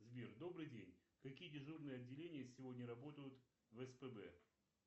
сбер добрый день какие дежурные отделения сегодня работают в спб